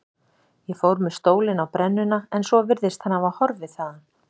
Ég fór með stólinn á brennuna en svo virðist hann hafa horfið þaðan.